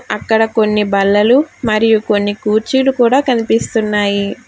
అక్కడ కొన్ని బల్లలు మరియు కొన్ని కూర్చీలు కూడా కనిపిస్తున్నాయి.